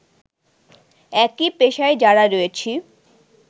একই পেশায় যারা রয়েছি